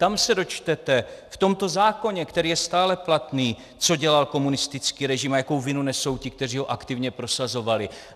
Tam se dočtete, v tomto zákoně, který je stále platný, co dělal komunistický režim a jakou vinu nesou ti, kteří ho aktivně prosazovali.